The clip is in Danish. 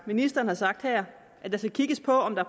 ministeren har sagt her at der skal kigges på om der